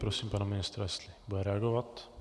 Prosím pana ministra, jestli bude reagovat.